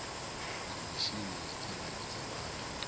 khomishini ya pfanelo dza vhathu